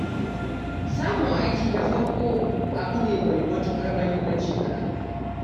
Samun aiki na farko abu ne mai matuƙar muhimmanci a rayuwa.